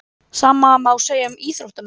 Sama má segja um íþróttamenn.